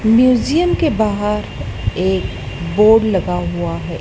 Museum के बाहर एक बोर्ड लगा हुआ है।